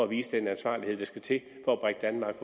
viser den ansvarlighed der skal til